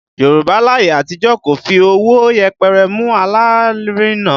Yorùbá láyé àtijọ́ kò fi ọwọ́ yẹpẹrẹ mú alárinà